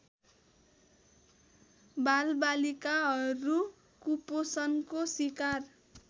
बालबालिकाहरू कुपोषणको सिकार